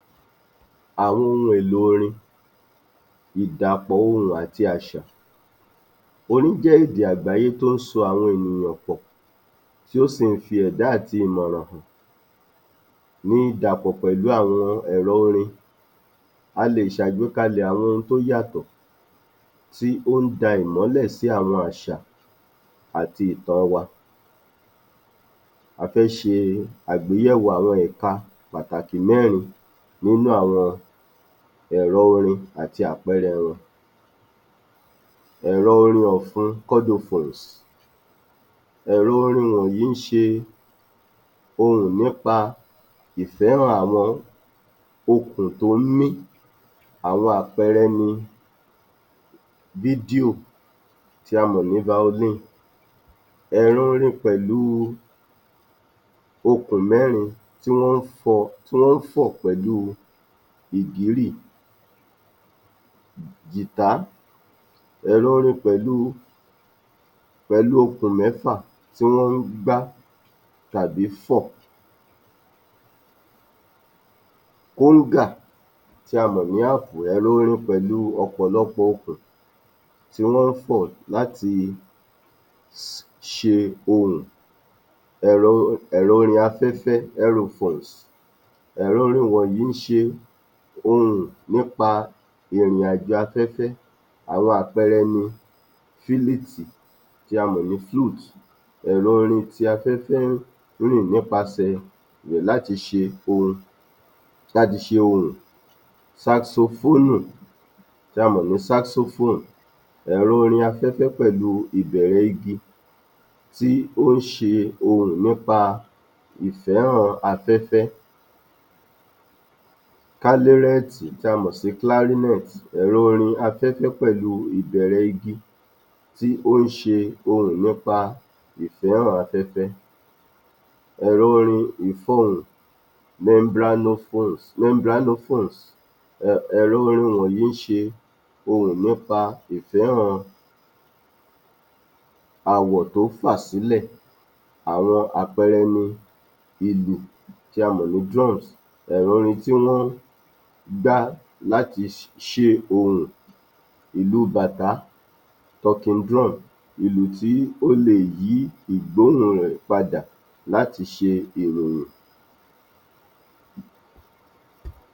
Àwọn ohun èlò orin, ìdàpọ̀ ohùn àti àṣà Orin jẹ́ èdè àgbáyé tó ń so àwọn ènìyàn pọ̀, tí ó si ń fi èdá àti ìmọ̀ràn hàn ní ìdàpọ̀ pẹ̀lú àwọn èlò orin, a lè ṣe àgbékalẹ̀ àwọn ohun tó yàtọ̀, tí ó ń da ìmọ́lẹ̀ sí àwọn àṣà àti ìtàn wa. A fẹ́ ṣe àgbékalẹ̀ àwọn ẹ̀ka pàtàkì mẹ́rin nínú àwọn ẹ̀rọ orin àti àwọn àpẹẹrẹ wọn. ẹ̀rọ orin ọ̀fun, chordophones, ẹ̀rọ orin wọ̀nyí ń ṣe ohùn nípa ìfẹ́ràn àwọn okùn tó ń mí, àwọn àpẹẹrẹ ni Fílíò tí a mọ̀ ní Violin, ẹ̀rọ̀ orin pẹ̀lú okùn mẹ́rin tí wọ́n fọn pẹ̀lú ìbírì, Guitar, ẹ̀rọ orin pẹ̀lú okùn mẹ́fà tí wọ́n ń gbá tàbí fọn, Dùrù tí a mọ̀ ní Harp ni orin pẹ̀lú ọ̀pọ̀lọpọ̀ okùn tí wọ́n fọn láti ṣe ohùn. ẹ̀rọ orin afẹ́fẹ́, aerophones, èrọ orin wọ̀nyí ń ṣe ohùn nípa ìrìnàjò afẹ́fẹ́, àwọn àpẹẹrẹ ni, Fúlùtù tí a mọ̀ sí flute, ẹ̀rọ orin tí afẹ́fẹ́ n rìn nípa sẹ rẹ̀ láti ṣe ohùn, Sasofóònù tí a mọ̀ sí Saxophone, ẹ̀rọ orin afẹ́fẹ́ pẹ̀lú ìbẹ̀rẹ̀ igi, tí ó ń ṣe ohun nípa ìfẹ́ràn afẹ́fẹ́, Kílárínẹ̀tì tí a mọ̀ sí Clarinet, ẹ̀rọ orin afẹ́fẹ́ pẹ̀lú ìbẹ̀rẹ̀ igi tí ó ń ṣe ohùn nípa ìfẹ́ràn afẹ́fẹ́. ẹ̀rọ orin ìfọhùn, membranophones, ẹ̀rọ orin wọ̀nyí ń ṣe ohùn nípa ìfẹ́ràn àwọ̀ tó fà sílẹ̀, àwọn àpẹẹrẹ ni, Ìlù tí a mọ̀ ní Drums, ẹ̀rọ orin tí wọ́n gbá láti ṣe ohùn, Ìlù bàtá, Talking drum ìlù tí ó lè yí ìgbóhùn rẹ̀ padà láti ṣe ìròyìn.